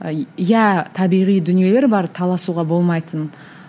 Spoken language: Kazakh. иә табиғи дүниелер бар таласуға болмайтын